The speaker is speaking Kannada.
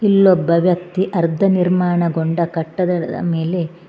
ಇಲ್ಲೊಬ್ಬ ವ್ಯಕ್ತಿ ಅರ್ಧ ನಿರ್ಮಾಣಗೊಂಡ ಕಟ್ಟದಡ ಮೇಲೆ--